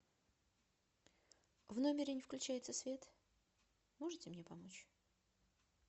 в номере не включается свет можете мне помочь